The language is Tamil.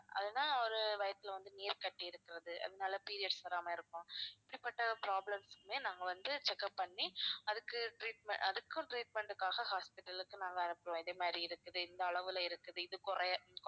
அதுனா ஒரு வயித்தில வந்து நீர் கட்டி இருக்கிறது அதனால periods வராம இருக்கும் இப்படிப்பட்ட problems க்குமே நாங்க வந்து check up பண்ணி அதுக்கு treatment~ அதுக்கும் treatment க்காக hospital க்கு நாங்க அனுப்புவோம் இந்த மாதிரி இருக்குது இந்த அளவுல இருக்குது இது குறைய